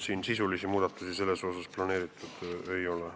Siin sisulisi muudatusi planeeritud ei ole.